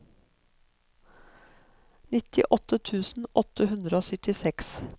nittiåtte tusen åtte hundre og syttiseks